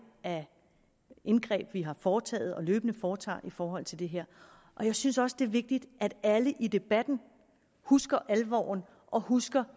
af indgreb vi har foretaget og løbende foretager i forhold til det her jeg synes også det er vigtigt at alle i debatten husker alvoren og husker